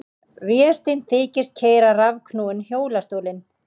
Vésteinn þykist keyra rafknúinn hjólastólinn.